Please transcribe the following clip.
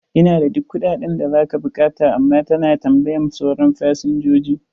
Ina da duk kuɗaɗen da za ka buƙata, amma ta na tambayan sauran fasinjoji.